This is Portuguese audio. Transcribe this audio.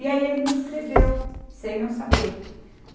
E aí ele me inscreveu, sem eu saber.